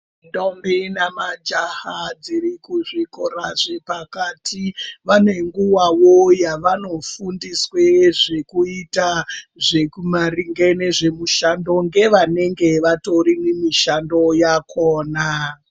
Ndombi nemajaha dziri kuzvikora zvepakati vane nguwawo yavanofundiswa zvekuita zvemumisando nevanenge vari mumishando yakona.